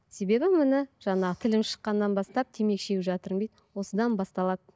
себебі міне жаңағы тілім шыққаннан бастап темекі шегіп жатырмын дейді осыдан басталады